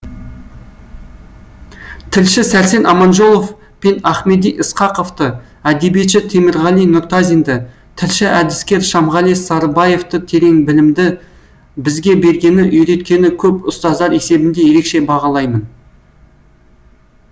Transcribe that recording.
тілші сәрсен аманжолов пен ахмеди ысқақовты әдебиетші темірғали нұртазинді тілші әдіскер шамғали сарыбаевты терең білімді бізге бергені үйреткені көп ұстаздар есебінде ерекше бағалаймын